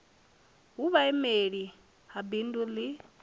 hu vhuimeli ha bindu ḽi